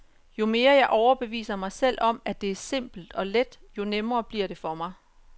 Jo mere jeg overbeviser mig selv om, at det er simpelt og let, jo nemmere bliver det for mig.